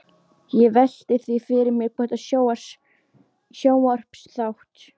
Ég velti því fyrir mér hvort sjónvarpsþátt